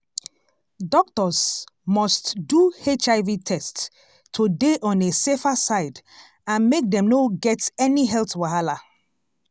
doctors must do hiv test to dey on a safer side and make dem no get any health wahala